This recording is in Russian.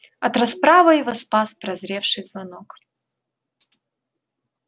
от расправы его спас прозвеневший звонок